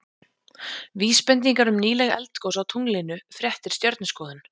Vísbendingar um nýleg eldgos á tunglinu Fréttir Stjörnuskoðun.